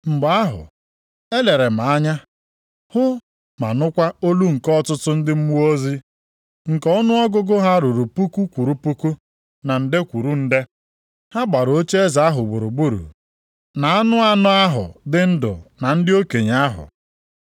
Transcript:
Mgbe ahụ, elere m anya, hụ ma nụkwa olu nke ọtụtụ ndị mmụọ ozi, nke ọnụọgụgụ ha ruru puku kwụrụ puku, na nde kwụrụ nde. Ha gbara ocheeze ahụ gburugburu, na anụ anọ ahụ dị ndụ na ndị okenye ahụ.